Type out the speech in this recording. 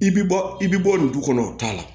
I bɛ bɔ i bɛ bɔ nin du kɔnɔ o t'a la